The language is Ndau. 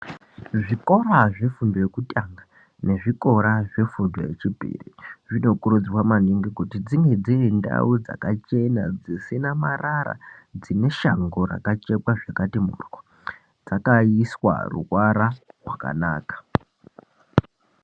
Zvikora zvefundo yokutanga nezvikora zvefundo yechipiri zvinokurudzirwa maningi kuti dzinge dzirindau dzakachena, dzisina marara. Dzineshango rakachekwa zvakati mhoryo, zvakaiswa ruvara rwakanaka.